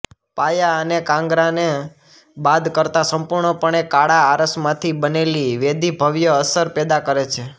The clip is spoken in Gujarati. પાયા અને કાંગરાને બાદ કરતા સંપૂર્ણપણે કાળા આરસમાંથી બનેલી વેદી ભવ્ય અસર પેદા કરે છે